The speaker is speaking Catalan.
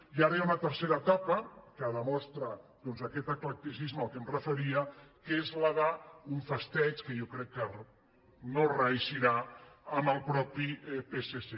i ara hi ha una tercera etapa que demostra doncs aquest eclecticisme a què em referia que és la d’un festeig que jo crec que no reeixirà amb el mateix psc